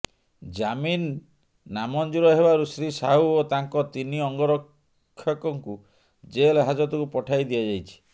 ଜାମିନ ନାମଞ୍ଜୁର ହେବାରୁ ଶ୍ରୀ ସାହୁ ଓ ତାଙ୍କ ତିନି ଅଙ୍ଗରକ୍ଷକଙ୍କୁ ଜେଲ ହାଜତକୁ ପଠାଇ ଦିଆଯାଇଛି